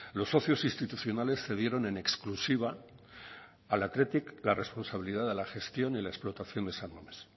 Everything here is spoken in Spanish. los socios institucionales cedieron en exclusiva al athletic la responsabilidad de la gestión y la explotación de san mames